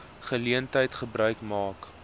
geleentheid gebruik maak